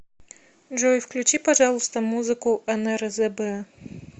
джой включи пожалуйста музыку нрзб